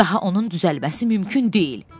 Daha onun düzəlməsi mümkün deyil.